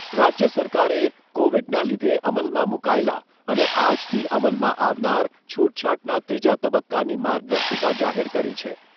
રાજ્ય સરકારે કોવીડના લીધે અમલમાં મૂકાયેલા અને આજથી અમલમાં આવનાર છૂટછાટના ત્રીજા તબક્કાની માર્ગદર્શિકા જાહેર કરી છે.